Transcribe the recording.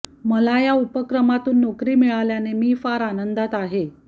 मला या उपक्रमातून नोकरी मिळाल्याने मी फार आनंदात आहे